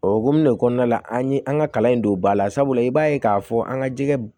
O hukumu de kɔnɔna la an ye an ka kalan in don ba la sabula i b'a ye k'a fɔ an ka jɛgɛ